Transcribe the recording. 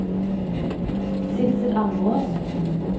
Sidsel Almås